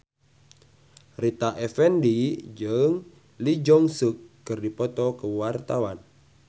Rita Effendy jeung Lee Jeong Suk keur dipoto ku wartawan